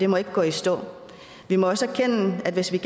må gå i stå vi må også erkende at hvis vi